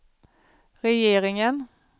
regeringen